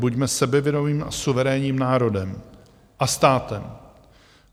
Buďme sebevědomým a suverénním národem a státem.